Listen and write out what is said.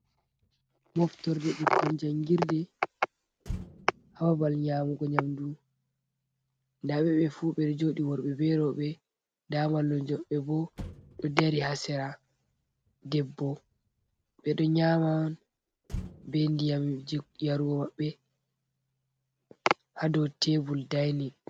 Moftorde ɓikkon jangirde ha babal nyamugo nyamdu. nda ɓe ɓe fu ɓeɗo joɗi worɓe be roɓe nda mallumjo maɓɓe bo ɗo dari ha sera debbo. Ɓeɗo nyaman be ndiyamji yarugo maɓɓe ha dou tebul dainin.